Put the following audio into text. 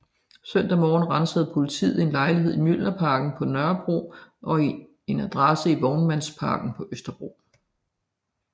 Søndag morgen ransagede politiet en lejlighed i Mjølnerparken på Nørrebro og en adresse i Vognmandsmarken på Østerbro